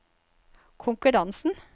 konkurransen